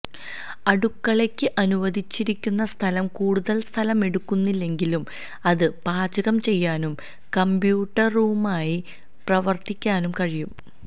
അടുക്കളയ്ക്ക് അനുവദിച്ചിരിക്കുന്ന സ്ഥലം കൂടുതൽ സ്ഥലം എടുക്കുന്നില്ലെങ്കിലും അത് പാചകം ചെയ്യാനും കമ്പ്യൂട്ടറുമായി പ്രവർത്തിക്കാനും കഴിയും